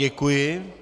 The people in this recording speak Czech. Děkuji.